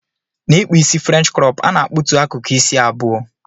Na ikpụ isi french crop ana akpụtụ akụkụ isi abụọ.